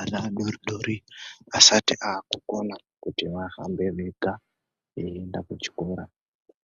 Ana adoridori asati akukona kuti vahambe vega veienda kuchikora